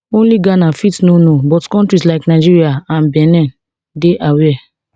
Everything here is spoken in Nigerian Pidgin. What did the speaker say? only ghana fit no know but kontris like nigeria and benin dey aware